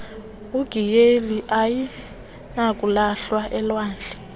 igiyeri ayinakulahlwa elwandle